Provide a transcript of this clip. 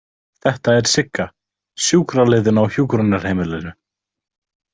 Þetta er Sigga, sjúkraliðinn á hjúkrunarheimilinu.